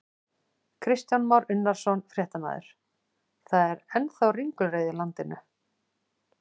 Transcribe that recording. Kristján Már Unnarsson, fréttamaður: Það er ennþá ringulreið í landinu?